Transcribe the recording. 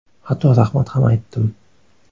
Hatto rahmat ham aytdim.